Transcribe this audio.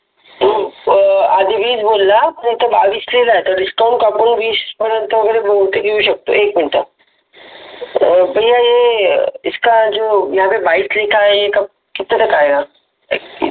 आधी वीस बोलला इथं बावीस लिहिलं आहे तर डिस्काउंट कापून वीज पर्यंत वगैरे बहुतेक येऊ शकतो एक मिनिट भैया इसका है यहा पे कितने तक आयेगा?